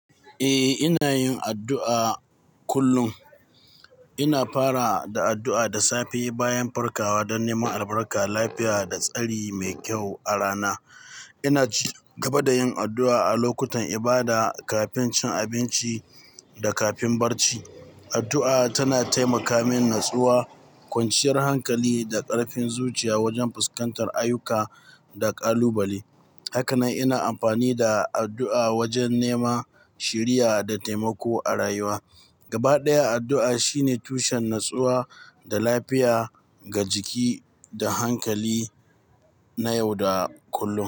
Eh, ina yin addu'a kullum. Ina fara da addu'a da safe bayan farkawa don neman albarka, lafiya da tsari mai kyau a rana. Ina ci gaba da yin addu'a a lokutan ibada, kafin cin abinci da kafin barci. Addu'a tana taimaka min natsuwa, kwanciyar hankali da ƙarfin zuciya wajen fuskantar ayuka da ƙalubale. Haka nan ina amfani da addu'a wajen neman shiriya da taimako a rayuwa. Gaba ɗaya, addu'a shine tushen natsuwa da lafiya ga jiki da hankali na yau da kullum.